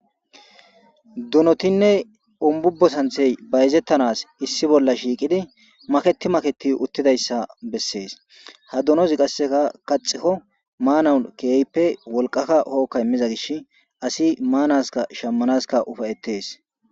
Donotinne umbubbo santhey bayzettanas issi bolla shiiqidi maketi maketi uttidayssa bessees ha dunozi qasseka kaxikko maanawun keeyippe wolqaka hookka immiza gish asi maanaska shammanaska ufayettes.